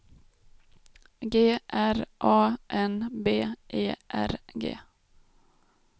G R A N B E R G